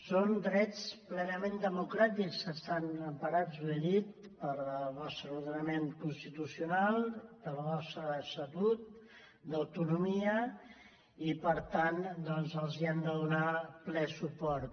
són drets plenament democràtics que estan emparats ho he dit pel nostre ordenament constitucional pel nostre estatut d’autonomia i per tant doncs els hem de donar ple suport